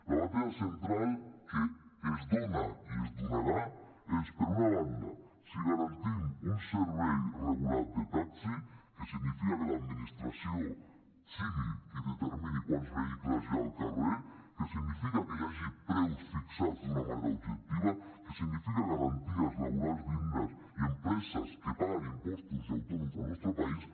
la batalla central que es dona i es donarà és per una banda si garantim un servei regulat de taxi que significa que l’administració sigui qui determini quants vehicles hi ha al carrer que significa que hi hagi preus fixats d’una manera objectiva que significa garanties laborals dignes i empreses que paguen impostos i autònoms al nostre país